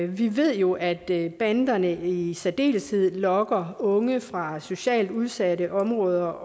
vi ved jo at banderne i særdeleshed lokker unge fra socialt udsatte områder